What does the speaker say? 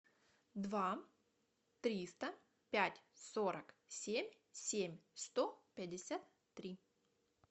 два триста пять сорок семь семь сто пятьдесят три